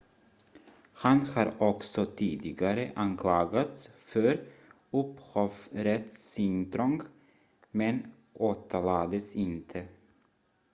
han har också tidigare anklagats för upphovsrättsintrång men åtalades inte